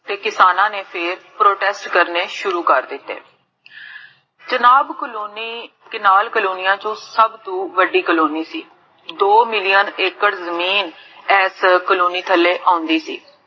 ਤੇ ਕਿਸਾਨਾ ਨੇ ਫੇਰ protest ਕਰਨੇ ਸ਼ੁਰੂ ਕਰ ਦਿੱਤੇ ਜਨਾਬ ਕਾਲੋਨੀ, ਕਿਨਾਲ ਕੋਲੋਨੀਆਂ ਚੋ ਸਬ ਤੋ ਵੱਡੀ ਕੋਲੋਨੀ ਸੀ ਦੋ million acre ਜ਼ਮੀਨ, ਏਸ ਕੋਲੋਨੀ ਥੱਲੇ ਆਉਂਦੀ ਸੀ